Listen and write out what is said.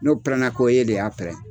No pɛrɛn na ko e de y'a pɛrɛn.